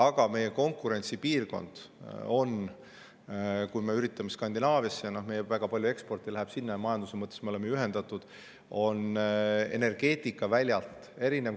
Aga meie konkurentsipiirkond – me üritame Skandinaaviasse, meil väga palju eksporti läheb sinna ja majanduse mõttes me oleme ühendatud – on erineva energeetikaväljaga.